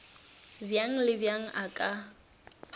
bjang le bjang a ka